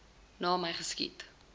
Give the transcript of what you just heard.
na my geskiet